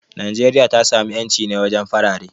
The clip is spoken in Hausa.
Najeriya ta samu inci ne wajen farare.